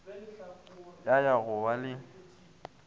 ya ya go ba le